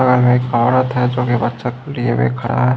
बगल में एक औरत है जो कि बच्चों के लिए भी खड़ा है।